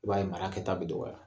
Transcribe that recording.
I b'a ye mara kɛta be dɔgɔya.